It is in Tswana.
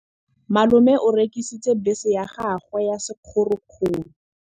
Malome o rekisitse bese ya gagwe ya sekgorokgoro.